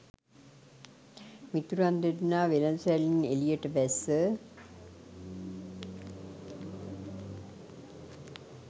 මිතුරන් දෙදෙනා වෙළදසැලෙන් එළියට බැස්ස